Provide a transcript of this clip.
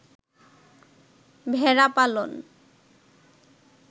ভেড়া পালন